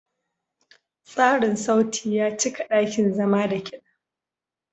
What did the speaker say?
Tsarin sauti ya cika ɗakin zama da kiɗa.